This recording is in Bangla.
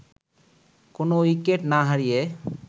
কোনো উইকেট না হারিয়ে